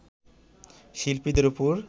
শিল্পীদের ওপর